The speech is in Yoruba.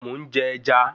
Mò ń jẹ ẹja